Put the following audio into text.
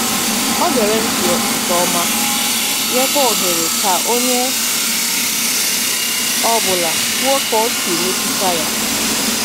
O gere ntị nke ọma, nyekwa ohere ka onye ọ bụla kwuo ka o si mmetụta ya.